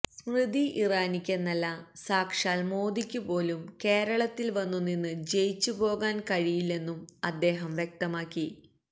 സ്മൃതി ഇറാനിക്കെന്നല്ല സാക്ഷാൽ മോദിക്കുപോലും കേരളത്തിൽ വന്നു നിന്ന് ജയിച്ചുപോകാൻ കഴിയില്ലെന്നും അദ്ദേഹം വ്യക്തമാക്കി